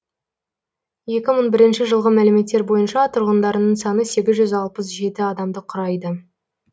екі мың бірінші жылғы мәліметтер бойынша тұрғындарының саны сегіз жүз алпыс жеті адамды құрайды